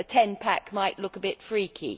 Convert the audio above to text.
A Ten Pack might look a bit freaky.